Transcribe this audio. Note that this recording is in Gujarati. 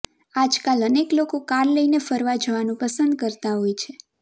આજકાલ અનેક લોકો કાર લઇને ફરવા જવાનું પસંદ કરતા હોય છે